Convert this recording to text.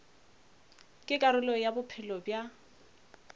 ke karolo ya bophelo bja